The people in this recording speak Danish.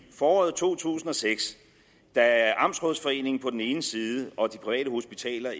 foråret to tusind og seks da amtsrådsforeningen på den ene side og de private hospitaler